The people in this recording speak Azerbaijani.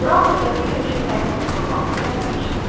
Qran növbəti görüşə təyin olunduğu vaxta gəlməmişdi.